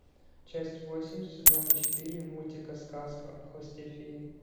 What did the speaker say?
часть восемь сезона четыре мультика сказка о хвосте феи